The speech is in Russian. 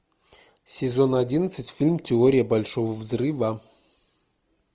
сезон одиннадцать фильм теория большого взрыва